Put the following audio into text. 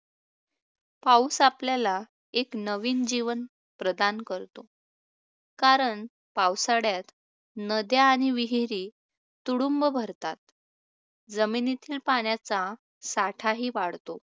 पाऊस आपल्याला एक नवीन जीवन प्रदान करतो, कारण पावसाळ्यात नद्या आणि विहिरी तुडुंब भरतात, जमिनीतील पाण्याचा साठाही वाढतो